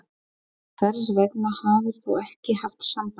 Hvers vegna hafðir ÞÚ ekki haft samband?